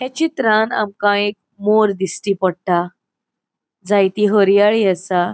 या चित्रान आमका एक मोर दिस्टी पोट्टा जायति हर्याळि असा.